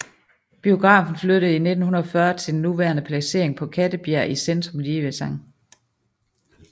Biografen flyttede i 1940 til den nuværende placering på Kattebjerg i centrum lige ved Skt